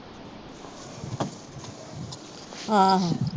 ਆਹੋ।